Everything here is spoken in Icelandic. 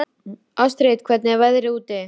Astrid, hvernig er veðrið úti?